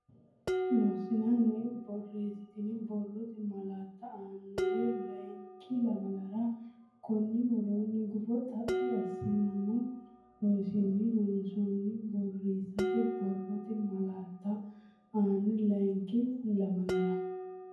Loossinanni borreessate borrote malaatta annore layinki lamalara konni woroonni gufo xaphi assinoommo Loossinanni Loossinanni borreessate borrote malaatta annore layinki lamalara.